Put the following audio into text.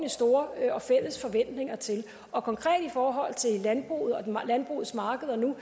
store fælles forventninger til og konkret i forhold til landbruget og landbrugets markeder nu